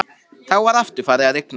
Þá var aftur farið að rigna.